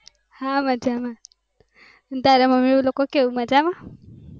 હા મજામાં તારા મમ્મી લોકો કેવું મજામાં.